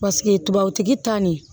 Paseke tubabutigi ta nin